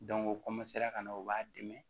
u ka na u b'a dɛmɛ